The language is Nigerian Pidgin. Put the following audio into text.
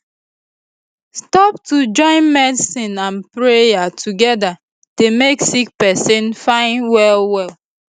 stop to join medicine and prayer together dey make sick pesin fine well well